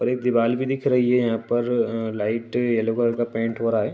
और एक दिवाल भी दिख रही है। यहाँ पर अ लाइट येलो कलर का पैंट हो रहा है।